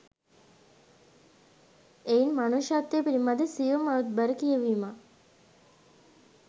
එයින් මනුෂ්‍යත්වය පිළිබඳ සියුම් අරුත්බර කියැවීමක්